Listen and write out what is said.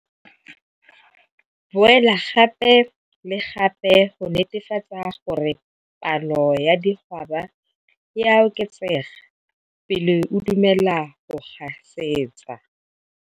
Boela gape le gape go netefatsa gore palo ya digwaba e a oketsega pele o dumela go gasetsa.